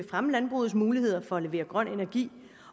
fremme landbrugets muligheder for at levere grøn energi